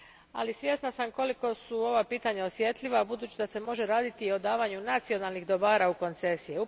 Ali, svjesna sam koliko su ova pitanja osjetljiva budući da se može raditi i o davanju nacionalnih dobara u koncesije.